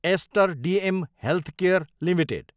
ester DM healthcare Ltd